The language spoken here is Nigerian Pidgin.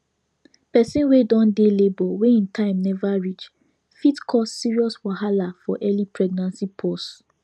persin wey don dey labor wey him time never reach fit cause serious wahala for early pregnancy pause